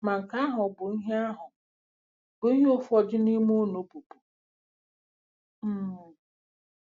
Ma nke ahụ bụ ihe ahụ bụ ihe ụfọdụ n'ime unu bụbu um.